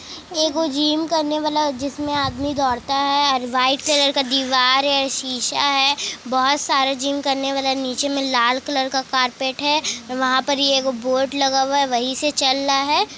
एगो जिम करने वाला जिसमें आदमी दौड़ता है और व्हाईट कलर का दीवार हैं। शीशा है। बहुत सारा जिम करने वाला नीचे में लाल कलर का कारपेट हैं। वहां पर एक बोर्ड लगा हुआ है। वहीं से चल रहा हैं।